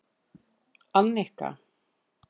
Annika